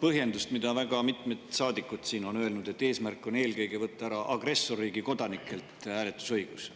põhjendust, mida väga mitmed saadikud siin on öelnud, et eesmärk on võtta eelkõige agressorriigi kodanikelt ära hääletusõigus.